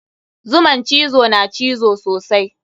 Zuman cizo na cizo sosai.